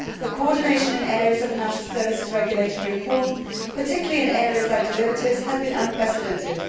The coordination in areas of financial services regulatory reform, particularly in areas like derivatives, has been unprecedented.